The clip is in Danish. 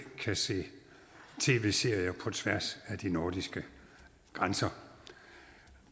kan se tv serier på tværs af de nordiske grænser